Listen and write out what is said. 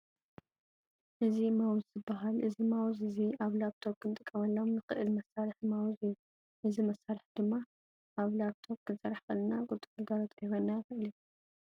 እዚ ማውዝ ይባሃል። እዚ ማውዝ እዚ ኣብ ላፕቶም ክንጥቀመሉ ንክእል መሳርሒ ማውዝ እዩ። እዚ ማሳርሒ ድማ ኣብ ላፕ ቶም ክንሰርሕ ከለና ቁልጡፍ ግልጋሎት ክህበና ይክእል እዩ።